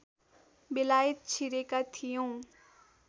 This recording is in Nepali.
बेलायत छिरेका थियौँ